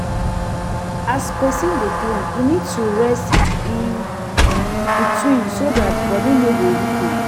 As person dey clean e need to rest in between so that body no go weak am